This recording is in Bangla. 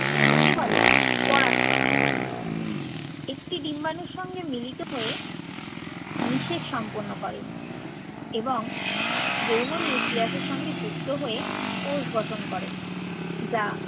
একে বলে পরাগ সংযোগ। একটি ডিম্বাণুর সঙ্গে মিলিত হয়ে নিষেক সম্পন্ন করে এবং বওমনি পিয়াসের সঙ্গে যুক্ত হয়ে কোষ গঠন করে। যা